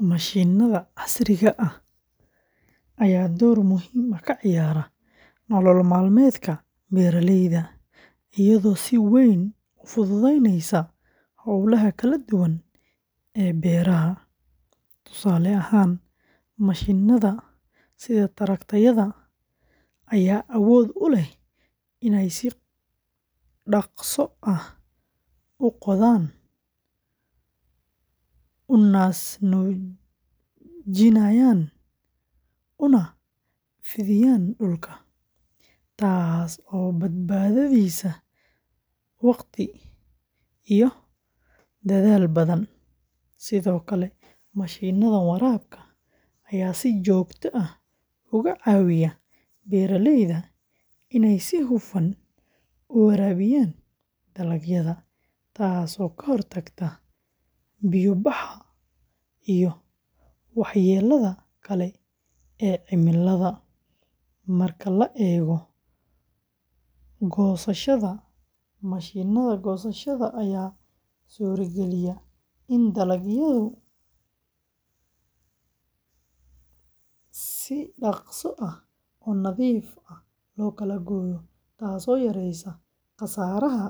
Mashiinada casriga ah ayaa door muhiim ah ka ciyaara nolol maalmeedka beeralayda, iyadoo si weyn u fududeynaysa hawlaha kala duwan ee beeraha. Tusaale ahaan, mashiinada sida tractor-yada ayaa awood u leh inay si dhakhso ah u qodaan, u naas-nuujinayaan, una fidiyaan dhulka, taas oo badbaadisa wakhti iyo dadaal badan. Sidoo kale, mashiinada waraabka ayaa si joogto ah uga caawiya beeralayda inay si hufan u waraabiyaan dalagyada, taas oo ka hortagta biyo-baxa iyo waxyeellada kale ee cimilada. Marka la eego goosashada, mashiinada goosashada ayaa suurageliya in dalagyada si dhaqso ah oo nadiif ah loo kala gooyo, taas oo yareysa khasaaraha